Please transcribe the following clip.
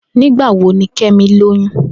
Nigbawo ni Kemi loyun?